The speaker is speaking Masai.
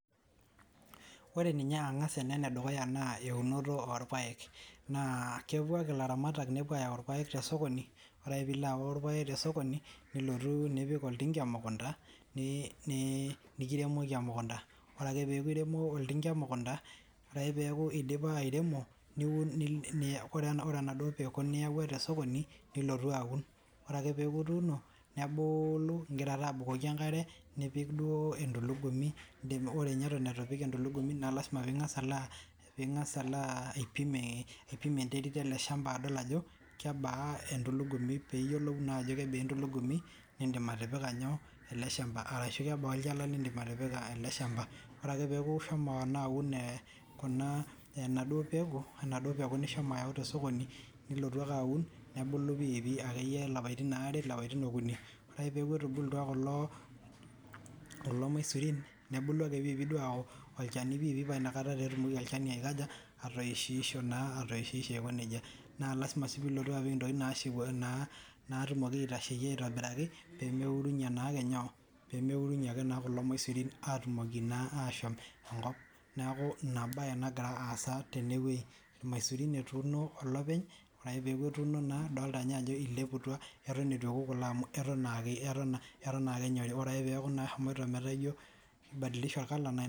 Ore ninye ang'as ene enedukuya naa eunoto oorpayek naa kepuo ilaramatak nepuo ainyang'u irpayeke toosokoni ore ake peeilo ayau irpayek toosokoni nilotu nipik oltinka emukunta nekiremoki emukunuta ore akee peeku eiremo oltinka emukunta ore ake peeku eidipa airemo ore enaduo peku niyawua tosokoni nilotu aun ore ake peeku ituuno nebulu ingira ake abukoki enkaree nipik duo entulugumi ore nye eton eitu ipik entulugumi naa lasima piing'as alo aipim enterit ele shampa adol ajo kebaa entulugumi niindim atipika nyoo ele shampa arashu kebaa olchala liindim atipika ele shampa ore ake peeku ishomo naa aun enaduo peku apa nishomo ayau toosokoni nilotu ake aun nebulu pii pii akee iye ilapaitin leinaare ilapaitin okuni oree ake peeku etubulutua kulo maisuein nebulu akee pii pii ayaku olchani pii pii aa ina kata etumoki olchani aikaja atoishi isho naa aiko nejia naa lasima sii piilotu atipika intokiting' naatumoki aitasheyie aitobiraki pemee urunyie naa ake inyoo pemeurunyie naa ake kulo maisurin aatumoki naa aashom enkop neeku ina baye nagira aasa tenewei irmaisurin etuuno openly ore ake peeku etuuno naa idoltaa naa ajo eileputua eton eitu ewoku kulo amu eton naa ake enyorii neeku naa eshomoita metaa ijo eibadilishe orr color.